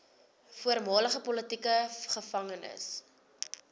voormalige politieke gevangenes